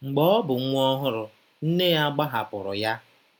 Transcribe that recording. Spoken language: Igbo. Mgbe ọ bụ nwa ọhụrụ, nne ya gbahapụrụ ya.